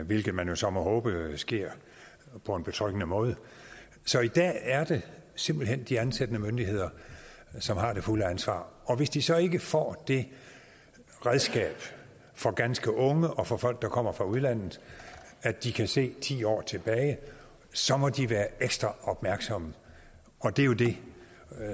hvilket man jo så må håbe sker på en betryggende måde så i dag er det simpelt hen de ansættende myndigheder som har det fulde ansvar og hvis de så ikke får det redskab for ganske unge og for folk der kommer fra udlandet at de kan se ti år tilbage så må de være ekstra opmærksomme og det er jo det